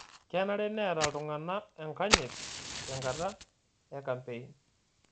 Kenare neeta ltung'ana enkanyit tenkata e kampein